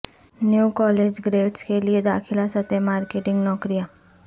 new college grades کے لئے داخلہ سطح مارکیٹنگ نوکریاں